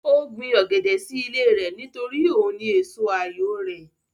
Ó gbin ọ̀gẹ̀dẹ̀ sí ilé rẹ̀ nítorí òun ni èso àyò rẹ̀